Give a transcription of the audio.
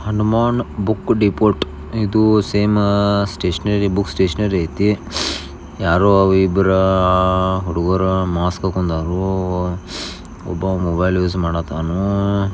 Hanuman book depot ಇದು ಸೇಮಾ stationery book stationery ಐತಿ ಯಾರು ಇಬ್ಬರೂ ಹುಡುಗುರ ಮಾಸ್ಕ ಹಾಕೊಂದಾರು ಒಬ್ಬ ಮೊಬೈಲ್ ಯೂಸ್ ಮಾಡಕತ್ತಾನು.